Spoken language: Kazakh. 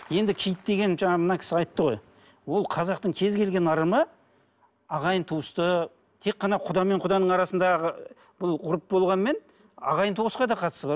енді киіт деген жаңа мына кісі айтты ғой ол қазақтың кез келген ырымы ағайын туысты тек қана құда мен құданың арасындағы бұл ғұрып болғанымен ағайын туысқа да қатысы бар